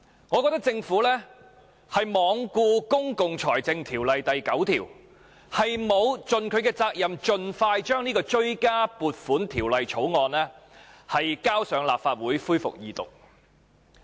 我覺得政府罔顧《公共財政條例》第9條，沒有盡其責任，盡快將這項《追加撥款條例草案》提交立法會恢復二讀。